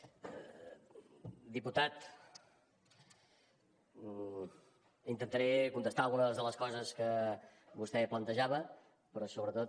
diputat intentaré contestar algunes de les coses que vostè plantejava però sobretot